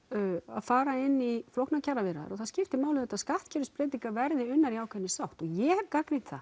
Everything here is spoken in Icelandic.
að fara inn í flóknar kjaraviðræður og það skiptir máli auðvitað að skattkerfisbreytingar verði unnar í ákveðinni sátt og ég hef gagnrýnt það